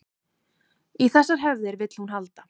Í þessar hefðir vill hún halda